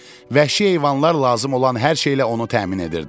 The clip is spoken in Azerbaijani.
Vəhşi heyvanlar lazım olan hər şeylə onu təmin edirdilər.